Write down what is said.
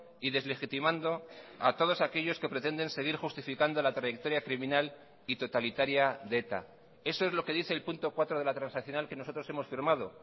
y deslegitimando a todos aquellos que pretenden seguir justificando la trayectoria criminal y totalitaria de eta eso es lo que dice el punto cuatro de la transaccional que nosotros hemos firmado